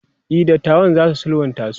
e datawan zasu sulhunta su